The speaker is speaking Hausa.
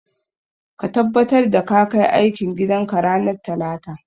Ka tabbatar ka kai aikin gidan ka ranar talata.